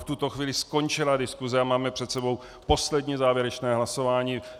V tuto chvíli skončila diskuse a máme před sebou poslední, závěrečné hlasování.